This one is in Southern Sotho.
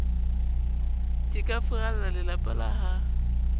ke ka furallalelapa la ha